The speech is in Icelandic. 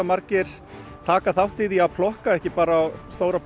margir taka þátt í því að plokka ekki bara á stóra